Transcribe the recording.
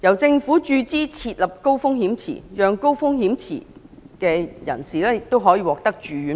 政府注資設立的高風險池，讓高風險人士獲得住院保障。